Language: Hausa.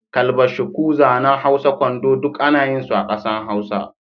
Kalba, shuku, zanen Hausa, kwando duk ana yin su a ƙasa Hausa.